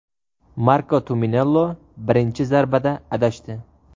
Marko Tumminello birinchi zarbada adashdi.